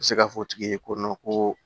N bɛ se k'a fɔ tigi ye ko ko